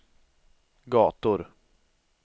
gator